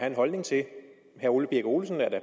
en holdning til herre ole birk olesen er da